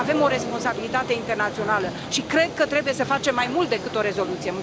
Avem o responsabilitate internațională și cred că trebuie să facem mai mult decât o rezoluție.